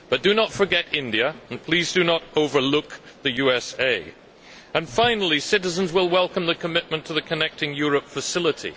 But do not forget India, and please do not overlook the USA. Finally, citizens will welcome the commitment to the Connecting Europe Facility.